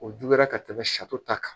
O juguya ka tɛmɛ ta kan